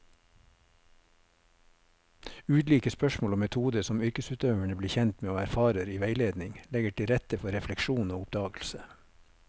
Ulike spørsmål og metoder som yrkesutøverne blir kjent med og erfarer i veiledning, legger til rette for refleksjon og oppdagelse.